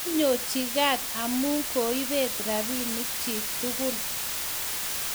konyochi kaat amu koibet rabinik chiik tugul